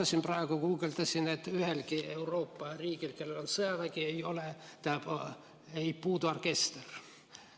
Ma praegu guugeldasin, et ühelgi Euroopa riigil, kellel on sõjavägi, ei puudu orkester.